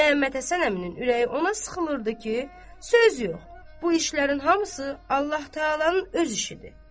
Məmmədhəsən əminin ürəyi ona sıxmırdı ki, söz yox, bu işlərin hamısı Allah-Taalanın öz işidir.